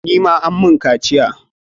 Ni ma an mun kaciya.